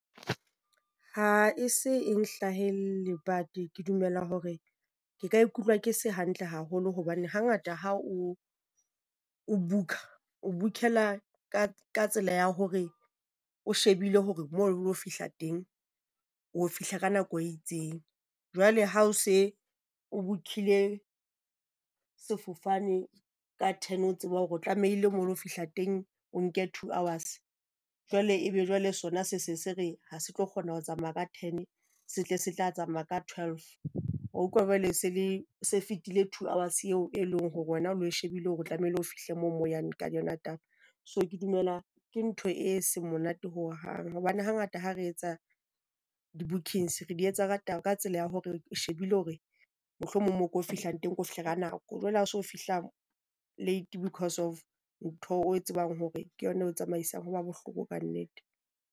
Ha e se e hlahelle but ke dumela hore ke ka ikutlwa ke se hantle haholo hobane hangata ha o book-a o book-ela ka ka tsela ya hore o shebile hore moo o lo fihla teng o fihla ka nako e itseng. Jwale ha o se o book-ile sefofane ka ten, o tseba hore o tlamehile moo lo fihla teng, o nke two hours jwale ebe jwale sona se se se re ha se tlo kgona ho tsamaya ka ten se tle se tla tsamaya ka twelve. Wa utlwa jwale se le se fetile two hours eo e leng hore wena o shebile hore o tlamehile o fihle moo mo yang ka yona taba. So ke dumela ke ntho e seng monate hohang hobane hangata ha re etsa di-bookings, re di etsa ratang ka tsela ya hore re shebile hore mohlomong mo re yo fihlang teng re lo fihlela nako. Jwale ha so fihla late because of ntho o e tsebang hore ke yona e tsamaisang ho ba bohloko kannete.